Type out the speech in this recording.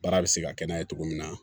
Baara bɛ se ka kɛ n'a ye cogo min na